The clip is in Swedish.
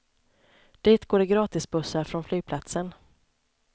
Dit går det gratisbussar från flygplatsen.